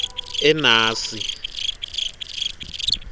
enasi